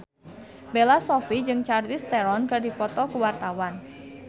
Bella Shofie jeung Charlize Theron keur dipoto ku wartawan